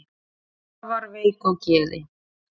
afar veik á geði